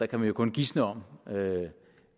kan jo kun gisne om